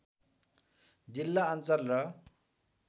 जिल्ला अञ्चल र